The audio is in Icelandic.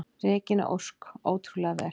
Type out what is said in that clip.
Regína Ósk: Ótrúlega vel.